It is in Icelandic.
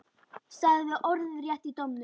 Sagði orðrétt í dómnum